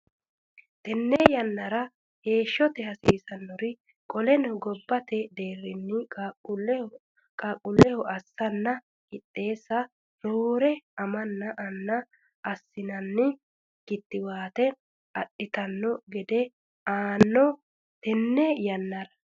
Tenne yannara heeshshonsara hasiisannore Qaleno gobbate deerrinni qaaqquulleho assanna qixxeessa roore amanna anna assinanni kittiwaate adhitanno gede anno Tenne yannara.